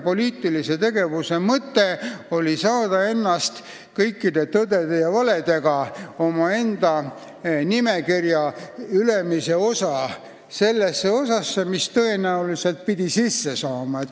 Poliitilise tegevuse ainuke mõte oli saada ennast koos kõikide tõdede ja valedega nimekirja ülemise otsa sellesse osasse, mis pidi parlamenti saama.